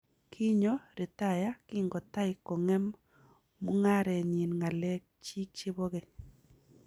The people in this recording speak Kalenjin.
Kinyo ritaya kingotai kong'em mung'arenyi ngalek chiik chebo keny